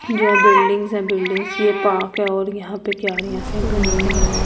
जो बिल्डिंग्स है बिल्डिंग्स ये पार्क है और यहां पे क्यारिया से बनी हुई है और--